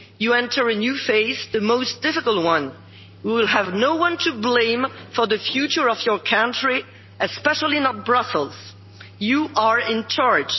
You enter a new phase the most difficult one and you will have no one to blame for the future of your country, especially not Brussels. You are